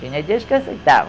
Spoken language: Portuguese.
Tinha dias que eu aceitava.